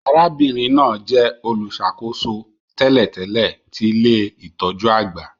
Arábìnrin náà jẹ olùṣàkóso tẹ́lẹ̀tẹ́lẹ̀ ti ilé-itọju àgbà